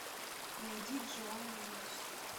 найди джуан риос